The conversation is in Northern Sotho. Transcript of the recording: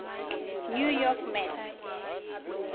new york mets